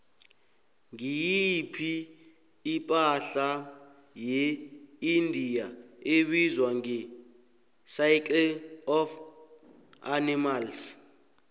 ngiyiphi ipahla yeindia ebizwa ngecircle of animals